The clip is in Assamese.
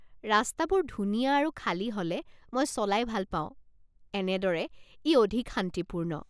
ৰাস্তাবোৰ ধুনীয়া আৰু খালী হ'লে মই চলাই ভাল পাওঁ, এনেদৰে, ই অধিক শান্তিপূৰ্ণ।